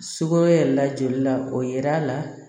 Sugoro la joli la o yer'a la